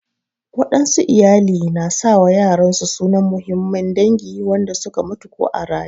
Waɗansu iyali na sa wa yaran su sunan muhimman dangi wanda su ka mutu ko a raƴe.